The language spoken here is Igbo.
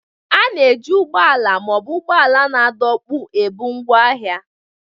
A na-eji ụgbọ ala ma ọ bụ ụgbọala na-adọkpụ ebu ngwaahịa.